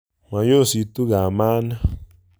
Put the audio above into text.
Moyositu kamani